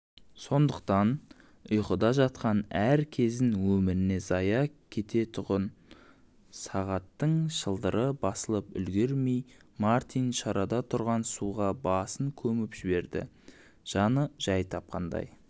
сондықтан ұйқыда жатқан әр кезін өміріне зая көретұғын-ды сағаттың шылдыры басылып үлгірмей мартин шарада тұрған суға басын көміп жіберді жаны жай тапқандай